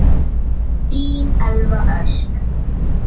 Þín Elva Ösp.